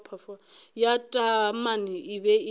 ya taamane e be e